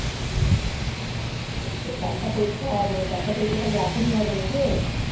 ও তাহলে পরীক্ষা মানে চারটা পরীক্ষা তাহলে এখনি হবে নাকি